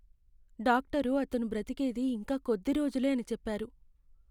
Doctor అతను బ్రతికేది ఇంకా కొద్ది రోజులే అని చెప్పారు.